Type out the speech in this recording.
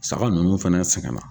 Saga ninnu fana sɛgɛnna.